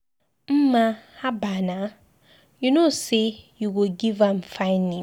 Mma haba naa! You no know say you go give am fine name.